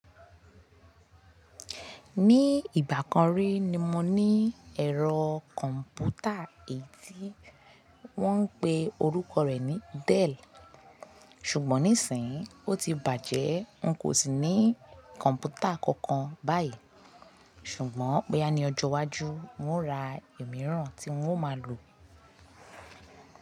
Ní ìgbà kan rí ni mo ní ẹ̀rọ kọ̀m̀pútà èyí tí wọ́n ń pe orúkọ rẹ̀ ní Dell. Ṣùgbọ́n níìsín, ó ti bàjẹ́, n kò sì ní kọ̀m̀pútà kankan báyìí. Ṣùgbọ́n boya ni ọjọ́ iwájú, n ó ra òmíràn tí n ó máa lò.